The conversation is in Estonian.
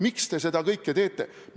Miks te seda kõike teete?